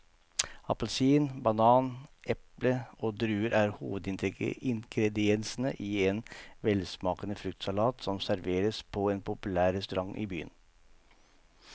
Appelsin, banan, eple og druer er hovedingredienser i en velsmakende fruktsalat som serveres på en populær restaurant i byen.